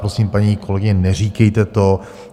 Prosím, paní kolegyně, neříkejte to.